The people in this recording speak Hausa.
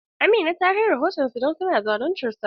Amina ta kai rahoton su don zaluntar ta.